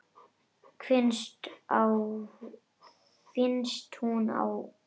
Finnst hún vera að kafna.